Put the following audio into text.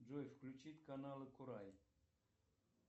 джой включить канал курай